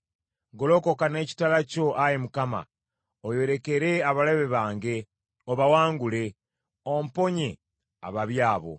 Golokoka n’ekitala kyo, Ayi Mukama , oyolekere abalabe bange obawangule, omponye ababi abo.